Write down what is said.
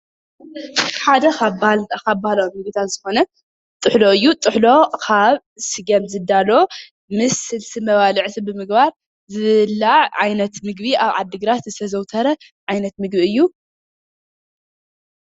ሓደ ካብ ባህላዊ ምግብታት ዝኾነ ጥሕሎ እዩ። ጥሕሎ ካብ ስገም ዝዳሎ ምስ ስልሲ መባልዕቲ ብምግባር ዝብላዕ ዓይነት ምግቢ ኣብ ዓዲግራት ዝተዘውተረ ዓይነት ምግቢ እዩ።